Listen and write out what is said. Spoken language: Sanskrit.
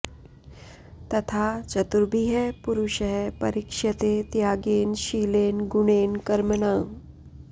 तथा चतुर्भिः पुरुषः परीक्ष्यते त्यागेन शीलेन गुणेन कर्मणा